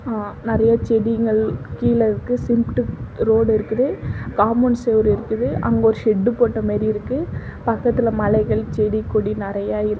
அ நெறய செடிங்கள் கீழ இருக்கு சிமெண்ட்டு ரோடு இருக்குது காம்பௌண்ட் செவரு இருக்குது அங்க ஒரு ஷெட்டு போட்ட மாரி இருக்கு பக்கத்துல மலைகள் செடி கொடி நெறய இருக்கு.